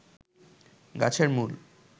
গাছের মূল